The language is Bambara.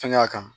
Fɛngɛ kan